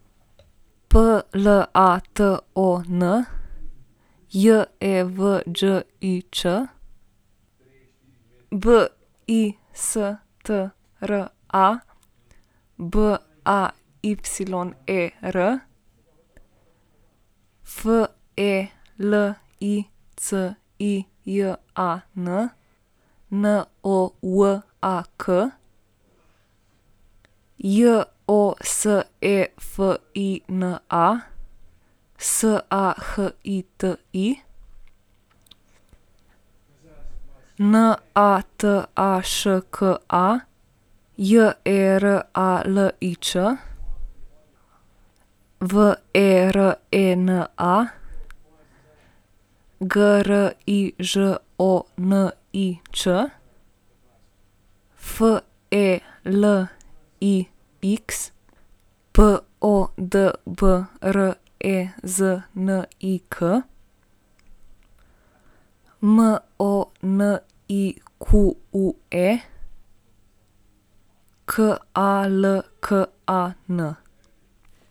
Platon Jevđić, Bistra Bayer, Felicijan Nowak, Josefina Sahiti, Nataška Jeralič, Verena Grižonič, Felix Podbreznik, Monique Kalkan.